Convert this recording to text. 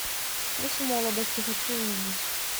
вкус молодости хочу увидеть